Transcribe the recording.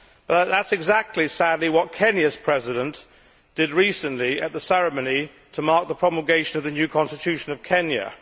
Sadly, that is exactly what Kenya's President did recently at the ceremony to mark the promulgation of the new constitution of Kenya.